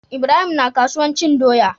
Ibrahim na kasuwan cin doya